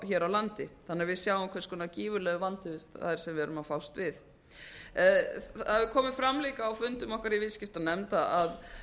hér á landi þannig að við sjáum hversu gífurlegur vandi það er sem við erum að fást við það hefur komið fram líka á fundum okkar í viðskiptanefnd